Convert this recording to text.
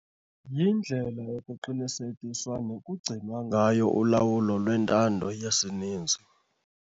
Yindlela ekuqinisekiswa nekugcinwa ngayo ulawulo lwentando yesininzi.